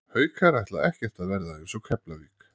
Haukar ætla ekkert að verða eins og Keflavík.